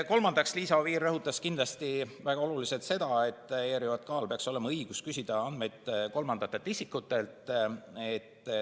Kolmandaks, Liisa Oviir rõhutas väga olulisena seda, et ERJK‑l peaks olema õigus küsida andmeid kolmandatelt isikutelt.